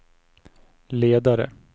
ledare